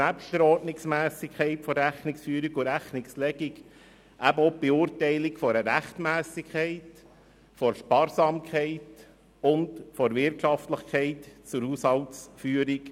Nebst der Ordnungsmässigkeit von Rechnungsführung und Rechnungslegung gehören auch die Überprüfung und Beurteilung einer Rechtmässigkeit von Sparsamkeit und Wirtschaftlichkeit zur Haushaltsführung.